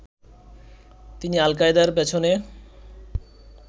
তিনি আল-কায়েদার পেছনে